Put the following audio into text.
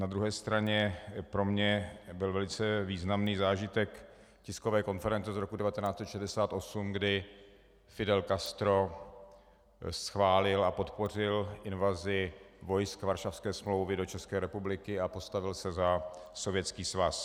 Na druhé straně pro mě byl velice významný zážitek tiskové konference z roku 1968, kdy Fidel Castro schválil a podpořil invazi vojsk Varšavské smlouvy do České republiky a postavil se za Sovětský svaz.